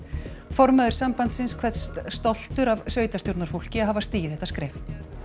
formaður sambandsins kveðst stoltur af sveitarstjórnarfólki að hafa stigið þetta skref